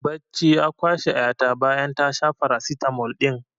Bacci ya kwashe ƴa ta bayan ta sha farasitamol ɗin